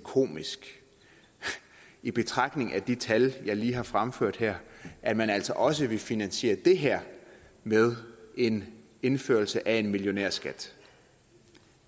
komisk i betragtning af de tal jeg lige har fremført her at man altså også vil finansiere det her med en indførelse af en millionærskat